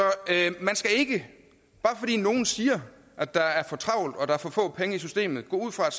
man skal ikke bare fordi nogen siger at der er for travlt og at der er for få penge i systemet gå ud fra at